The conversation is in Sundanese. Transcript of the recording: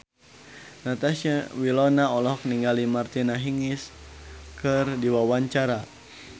Natasha Wilona olohok ningali Martina Hingis keur diwawancara